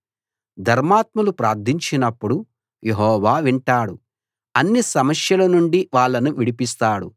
ధర్మాత్ములు ప్రార్థించినప్పుడు యెహోవా వింటాడు అన్ని సమస్యల నుండి వాళ్ళను విడిపిస్తాడు